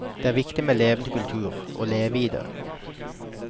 Det er viktig med levende kultur, å leve i det.